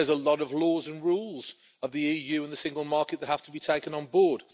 there are a lot of laws and rules of the EU and the single market that have to be taken on board.